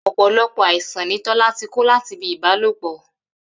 Ò̩pò̩lo̩pò̩ àìsàn ni Tó̩lá ti kó láti ibi ìbálòpò